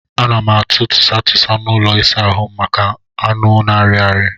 A na m atụ tụsa tụsa n'ụlọ ịsa ahụ m maka anụ na-arị arị.